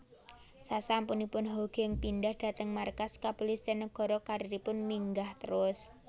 Sasampunipun Hoegeng pindhah dhateng markas Kepulisian Nagara karieripun minggah terus